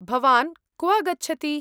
भवान् क्व गच्छति ?